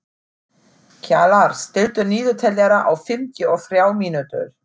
Kjalar, stilltu niðurteljara á fimmtíu og þrjár mínútur.